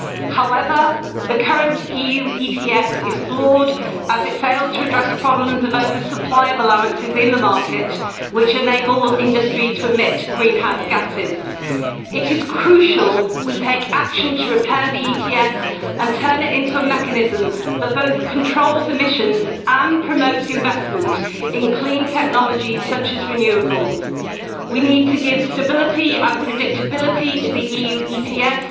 However, the current EU ETS is flawed, as it fails to address problems of oversupply of allowances in the market, which enable the industry to emit greenhouse gases. It is crucial that we take action to repair the ETS and turn it into a mechanism that both controls emissions and promotes investment in clean technologies such as renewables. We need to give stability and predictability to the EU ETS